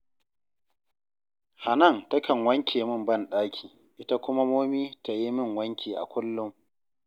Hanan takan wanke min banɗaki, ita kuma Momi ta yi min wanki a kullum